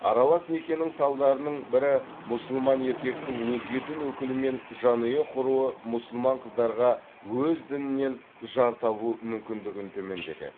аралас некенің салдарының бірі мұсылман еркектің өзге дін өкілімен жанұя құруы мұсылман қыздарға өз дінінен жар табу мүмкіндігін төмендетеді